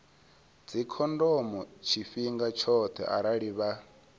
dzikhondomo tshifhinga tshoṱhe arali vha